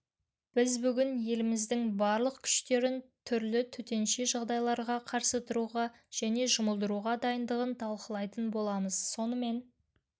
біз бүгін еліміздің барлық күштерін түрлі төтенше жағдайларға қарсы тұруға және жұмылдыруға дайындығын талқылайтын боламыз сонымен